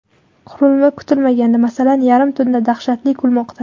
Qurilma kutilmaganda, masalan, yarim tunda dahshatli kulmoqda.